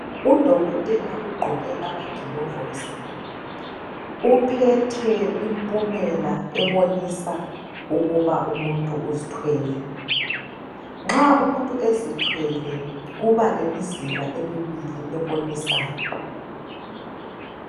Udokotela ugqoke amagilovisi uphethe impumela ebonisa ukuba umuntu uzithwele nxa umuntu ezithwele kuba lemizila emibili ebonisayo.